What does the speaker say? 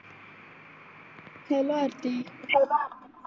hello Aarti